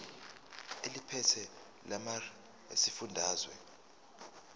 eliphethe lamarcl esifundazwe